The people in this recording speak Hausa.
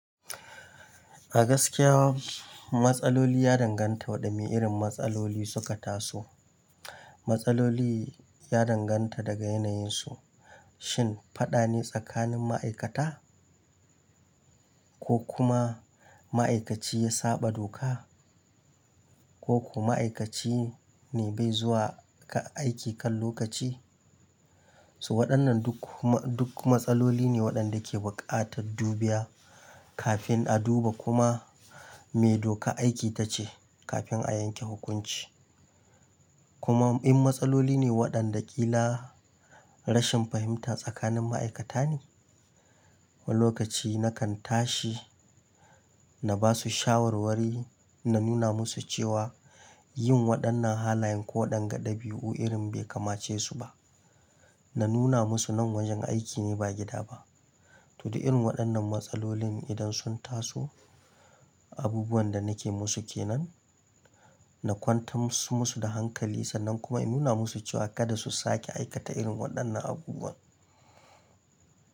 A gaskiya, matsaloli ya danganta waɗanne irin matsaloli suka taso. Matsaloli ya danganta daga yanayinsu. Shin faɗa ne tsakanin ma'aikata? Ko kuma ma'aikaci ya saɓa doka? Ko kuma aikaci ne bai zuwa kan aiki kan lokaci? So waɗannan duk ma duk matsaloli ne waɗanda ke buƙatar dubiya kafin a duba kuma me doka aiki tace kafin a yanke hukunci. Kuma in matsaloli ne waɗanda ƙila rashin fahimta tsakanin ma'aikata ne, woni lokaci na kan tashi na basu shawarwari, na nuna musu cewa yin waɗannan halayen ko ɗan ga ɗabiu irin bai kamace su ba. Na nuna musu nan wajen aiki ne ba gida ba. To, da irin waɗannan matsalolin idan sun taso, abubuwan da nake musu ke nan, na kwantar musu da hankali sannan kuma ina nuna musu cewa kada su sake aikata irin waɗannan abubuwan.